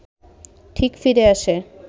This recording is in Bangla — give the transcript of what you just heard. ঠিক ফিরে আসে